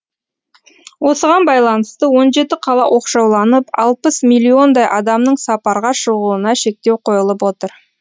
осыған байланысты он жеті қала оқшауланып алпыс миллиондай адамның сапарға шығуына шектеу қойылып отыр